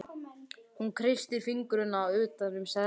Hún kreistir fingurna utan um seðlana.